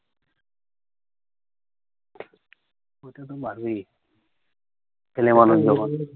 অইটা তো বাড়বেই। ছেলে মানুষ যখন।